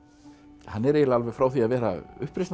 hann er eiginlega alveg frá því að vera